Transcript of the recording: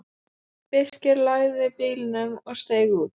Birkir lagði bílnum og steig út.